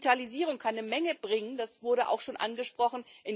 Digitalisierung kann eine Menge bringen, das wurde auch schon angesprochen.